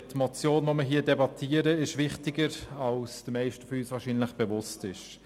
Die Motion, die wir hier debattieren, ist wichtiger, als es den Meisten von uns wahrscheinlich bewusst ist.